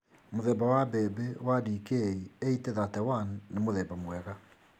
Mũthemba wa mbembe wa DK 8031 nĩ mũthemba mwega.